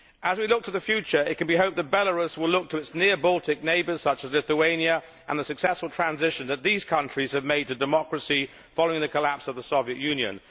As we look to the future, it can be hoped that Belarus will look to its near Baltic neighbours such as Lithuania, and the successful transition that these countries have made to democracy following the collapse of the Soviet Union.